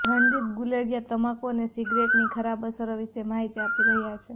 રણદીપ ગુલેરિયા તમાકૂ અને સિગરેટની ખરાબ અસરો વિશે માહિતી આપી રહ્યા છે